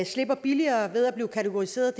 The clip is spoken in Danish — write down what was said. slipper billigere ved at blive kategoriseret